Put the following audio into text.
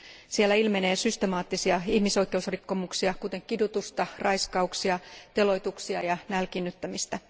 Siellä ilmenee systemaattisia ihmisoikeusrikkomuksia, kuten kidutusta, raiskauksia, teloituksia ja nälkiinnyttämistä.